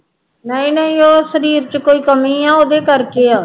ਨਹੀਂ ਨਹੀਂ ਉਹ ਸਰੀਰ ਚ ਕੋਈ ਕਮੀ ਹੈ ਉਹਦੇ ਕਰਕੇ ਹੈ